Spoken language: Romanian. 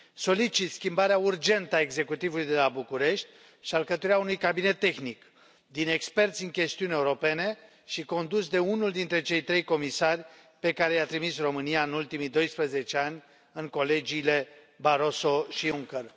Solicit schimbarea urgentă a executivului de la București și alcătuirea unui cabinet tehnic din experți în chestiuni europene și condus de unul dintre cei trei comisari pe care i a trimis România în ultimii doisprezece ani în colegiile Barroso și Juncker.